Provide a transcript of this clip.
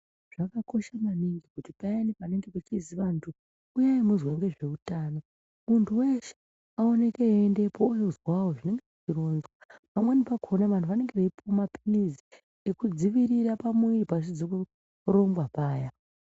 Zvakakosha maningi kuti payani panenge pechizi vantu uyai muzwe ngezveutano, muntu weshe aoneke eiendepo ondozwawo zvinenge zveironzwa. Pamweni pakona vantu vanenge veipuwa maphilizi ekudzivirira pamuviri pasizi kurongwa paya.